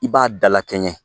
I b'a dalakɛɲɛ